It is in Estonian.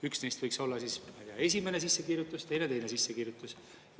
Üks neist võiks olla esimene sissekirjutust, teine teine sissekirjutus.